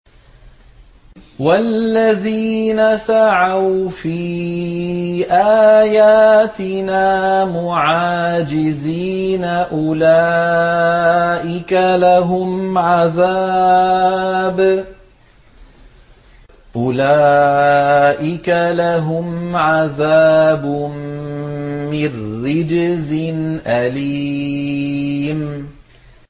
وَالَّذِينَ سَعَوْا فِي آيَاتِنَا مُعَاجِزِينَ أُولَٰئِكَ لَهُمْ عَذَابٌ مِّن رِّجْزٍ أَلِيمٌ